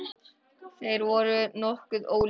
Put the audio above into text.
Þeir voru nokkuð ólíkir.